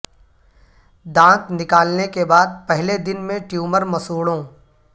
دانت نکالنے کے بعد پہلے دن میں ٹیومر مسوڑوں